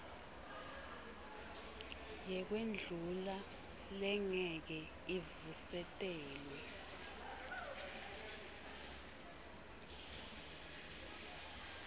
yekwendlula lengeke ivusetelwe